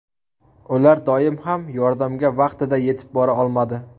Ular doim ham yordamga vaqtida yetib bora olmadi.